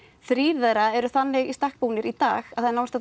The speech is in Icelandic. þrír þeirra eru þannig í stakk búnir í dag að